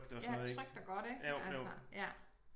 Ja trygt og godt ik altså ja